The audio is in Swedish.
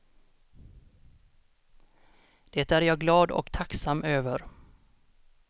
Det är jag glad och tacksam över.